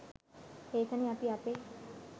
ඒකනෙ අපි අපේ